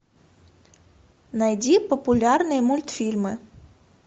найди популярные мультфильмы